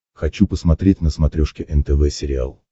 хочу посмотреть на смотрешке нтв сериал